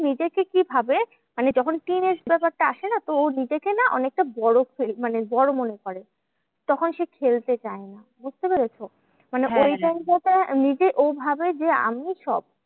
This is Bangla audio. নিজেকে কি ভাবে? মানে যখন teenage ব্যাপারটা আসে না? তো ও নিজেকে না অনেকটা বড় feel মানে বড় মনে করে, তখন সে খেলতে চায় না, বুঝতে পেরেছো? মানে ওই time টা তে নিজে ও ভাবে যে আমি সব,